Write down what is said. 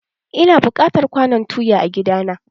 Ina buƙatar kwanon tuya a gida na.